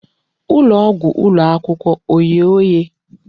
Ụlọ ọgwụ ụlọ akwụkwọ oghe oghe?